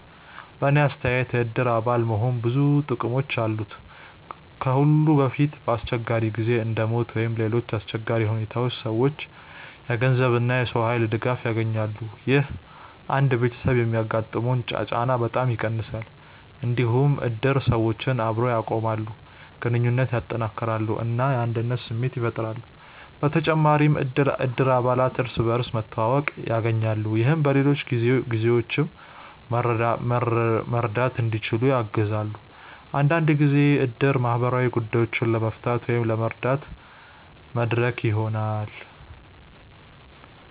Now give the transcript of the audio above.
በእኔ አስተያየት የእድር አባል መሆን ብዙ ጥቅሞች አሉት። ከሁሉ በፊት በአስቸጋሪ ጊዜ እንደ ሞት ወይም ሌሎች አሰቸጋሪ ሁኔታዎች ሰዎች የገንዘብ እና የሰው ኃይል ድጋፍ ያገኛሉ። ይህ አንድ ቤተሰብ የሚያጋጥመውን ጫና በጣም ይቀንሳል። እንዲሁም እድር ሰዎችን አብሮ ያቆማል፣ ግንኙነትን ያጠናክራል እና የአንድነት ስሜት ያፈጥራል። በተጨማሪም እድር አባላት እርስ በርስ መተዋወቅ ያገኛሉ፣ ይህም በሌሎች ጊዜዎችም መርዳት እንዲችሉ ያግዛል። አንዳንድ ጊዜ እድር ማህበራዊ ጉዳዮችን ለመፍታት ወይም ለመረዳት መድረክ ይሆናል።